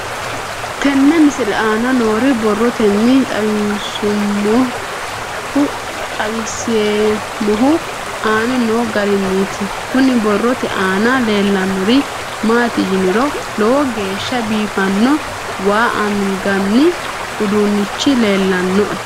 Tenne misile aana noore borroteni xawiseemohu aane noo gariniiti. Kunni borrote aana leelanori maati yiniro lowo geeshsha biifanno waa anganni udduunichi leelanoe.